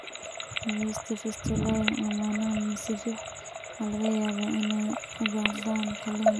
Daawaynta fistulae laamaha mise fiix waxa laga yaabaa inay u baahdaan qalliin.